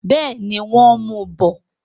Bẹ́ẹ̀ni, wọ́n ń mu bọ̀.